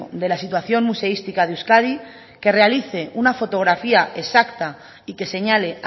de la situación museística de euskadi que realice una fotografía exacta y que señale